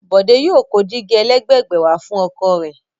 Bòdé yóò kó dígí ẹlẹ́gbẹ̀gbẹ̀ wà fún ọkọ̀ mi.